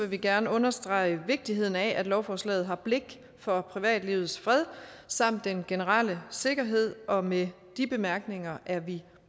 vi gerne understrege vigtigheden af at lovforslaget har blik for privatlivets fred samt den generelle sikkerhed og med de bemærkninger er vi